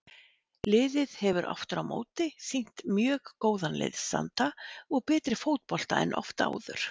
Liðið hefur afturámóti sýnt mjög góðan liðsanda og betri fótbolta en oft áður.